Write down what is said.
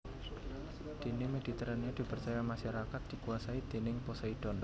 Dene Mediterania dipercaya masyarakat dikuasai déning Poseidon